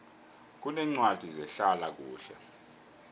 kuneencwadi zehlala kuhle